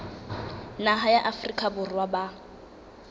naha ya afrika borwa ba